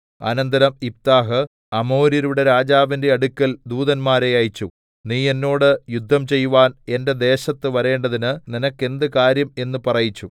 അനന്തരം യിഫ്താഹ് അമ്മോന്യരുടെ രാജാവിന്റെ അടുക്കൽ ദൂതന്മാരെ അയച്ചു നീ എന്നോട് യുദ്ധം ചെയ്‌വാൻ എന്റെ ദേശത്ത് വരേണ്ടതിന് നിനക്കെന്തു കാര്യം എന്ന് പറയിച്ചു